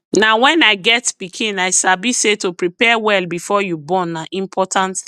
na wen i get pikin i sabi say to prepare well before you born na important thing